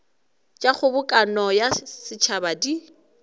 tša kgobokano ya setšhaba di